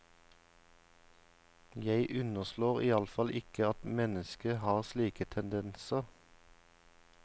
Jeg underslår i alle fall ikke at mennesket har slike tendenser.